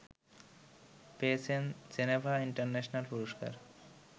পেয়েছেন Geneva international পুরস্কার